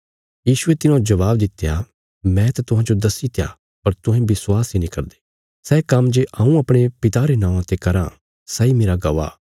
यीशुये तिन्हांजो जबाब दित्या मैं त तुहांजो दस्सीत्या पर तुहें विश्वास इ नीं करदे सै काम्म जे हऊँ अपणे पिता रे नौआं ते कराँ सैई मेरा गवाह